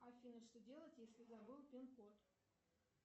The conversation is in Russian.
афина что делать если забыл пинкод